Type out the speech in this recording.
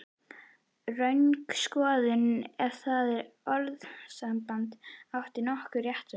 Röng skoðun, ef það orðasamband átti nokkurn rétt á sér.